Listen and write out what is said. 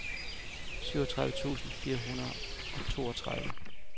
syvogtredive tusind fire hundrede og toogtredive